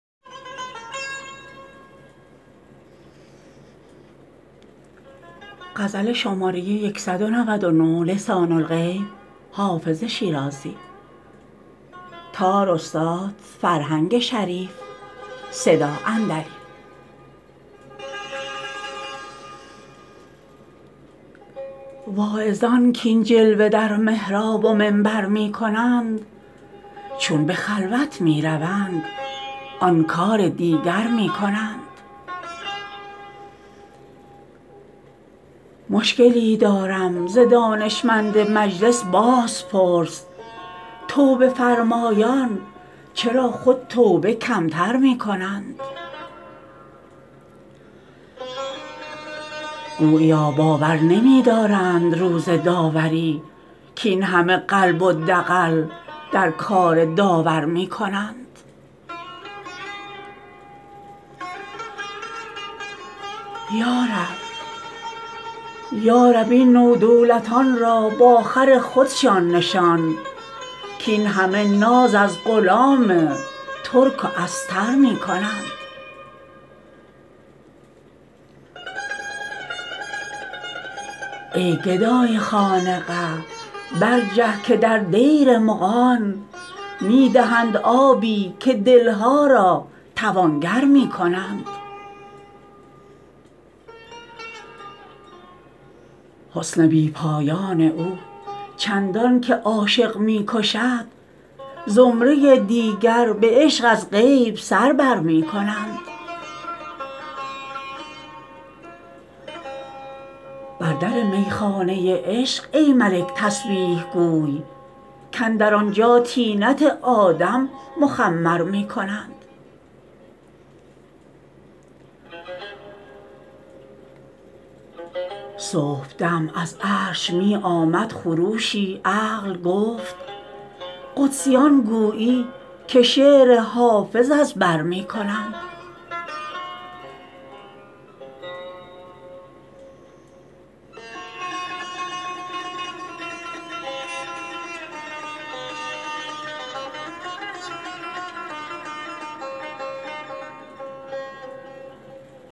واعظان کاین جلوه در محراب و منبر می کنند چون به خلوت می روند آن کار دیگر می کنند مشکلی دارم ز دانشمند مجلس بازپرس توبه فرمایان چرا خود توبه کم تر می کنند گوییا باور نمی دارند روز داوری کاین همه قلب و دغل در کار داور می کنند یا رب این نودولتان را با خر خودشان نشان کاین همه ناز از غلام ترک و استر می کنند ای گدای خانقه برجه که در دیر مغان می دهند آبی و دل ها را توانگر می کنند حسن بی پایان او چندان که عاشق می کشد زمره دیگر به عشق از غیب سر بر می کنند بر در می خانه عشق ای ملک تسبیح گوی کاندر آنجا طینت آدم مخمر می کنند صبح دم از عرش می آمد خروشی عقل گفت قدسیان گویی که شعر حافظ از بر می کنند